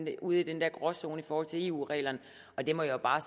er ude i den der gråzone i forhold til eu reglerne det må jeg jo bare